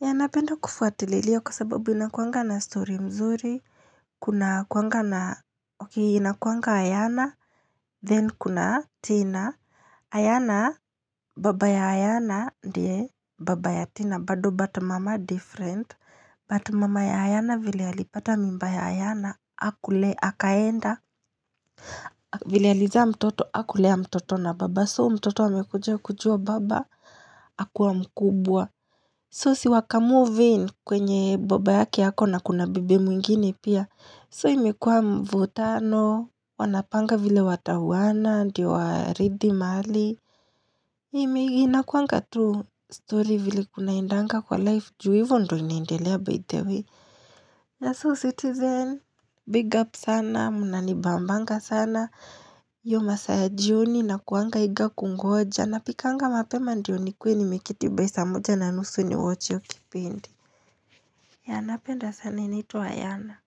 Yeah, napenda kufuatililia kwa sababu inakuanga na story mzuri. Kunakuanga na, ok, inakuanga Ayana. Then kuna Tina. Ayana, baba ya Ayana, ndiye baba ya Tina. Bado but mama different. But mama ya Ayana vile alipata mimba ya Ayana, Akulea, akaenda. Vile alizaa mtoto, akulea mtoto na baba. So mtoto wamekuja kujua baba, akuwa mkubwa. So si waka moving kwenye baba yake ako na kuna bibi mwingine pia. So imekua mvutano, wanapanga vile watauana ndio warithi mali. Inakuanga tu story vile kunaendanga kwa life ju hivo ndo inaindelea btw. Na so citizen, big up sana, munanibambanga sana. Iyo masaa ya jioni nakuanga eager kungoja. Napikanga mapema ndio nikue nimeketi by saa moja na nusu ndio niwatch hiyo kipindi. Yeah napenda sana inaitwa Ayana.